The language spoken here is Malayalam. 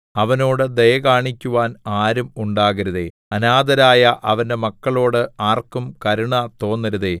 അവനോട് ദയ കാണിക്കുവാൻ ആരും ഉണ്ടാകരുതേ അനാഥരായ അവന്റെ മക്കളോട് ആർക്കും കരുണ തോന്നരുതേ